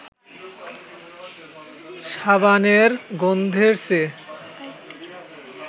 সাবানের গন্ধের চেয়ে